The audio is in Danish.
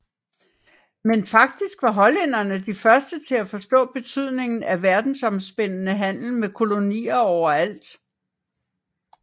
Men faktisk var hollænderne de første til at forstå betydningen af verdensomspændende handel med kolonier overalt